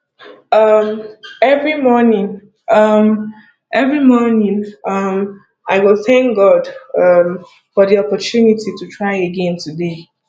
um every morning um every morning um i go thank god um for di opportunity to try again today